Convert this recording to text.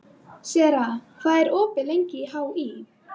Sera, hvað er opið lengi í HÍ?